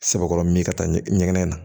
Sɛbɛkɔrɔ min ka taa ɲɛgɛn na